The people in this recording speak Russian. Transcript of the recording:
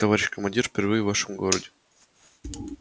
товарищ командир впервые в нашем городе